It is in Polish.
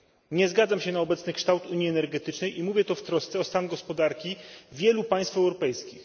Nie zgadzam się na obecny kształt unii energetycznej i mówię to w trosce o stan gospodarki wielu państw europejskich.